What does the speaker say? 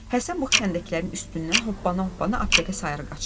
Həsən bu xəndəklərin üstündən hoppana-hoppana aptekə sarı qaçırdı.